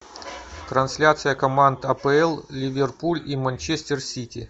трансляция команд апл ливерпуль и манчестер сити